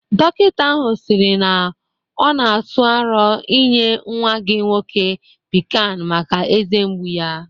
Dokịta ahụ siri na ọ na atụ aro inye nwa gị nwoke Pikan maka eze mgbu ya